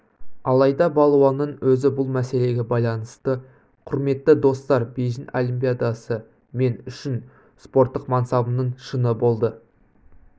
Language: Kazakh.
алайда балуанның өзі бұл мәселеге байланысты құрметті достар бейжің олимпиадасы мен үшін спорттық мансабымның шыңы болды